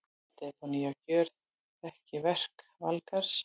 Stefanía gjörþekki verk Valgarðs.